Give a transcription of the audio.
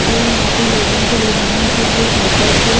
जो यहां पे लोगों को ले जाने के लिए साइकिल पे--